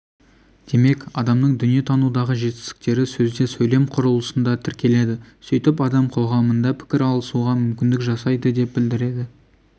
демек адамның дүние танудағы жетістіктері сөзде сөйлем құрылысында тіркеледі сөйтіп адам қоғамында пікір алысуға мүмкіндік жасайды деп білдіреді